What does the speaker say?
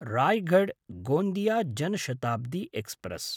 Raigarh Gondia Jan Shatabdi express